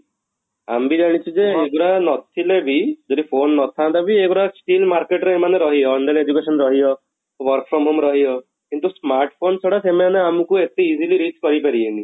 ଆମେ ବି ଜାଣିଛୁ ଯେ ଏଇ ଗୁଡା ନଥିଲେ ବି ଯଦି phone ନାଥାନ୍ତା ବି ଏଇ ଗୁଡା still market ରେ ଏମାନେ ରହିବେ online education ରହିବ, work from home ରହିବ କିନ୍ତୁ smart phone ଛଡା ସେମାନେ ଆମକୁ ଏତେ easily reach କରି ପାରିବେନି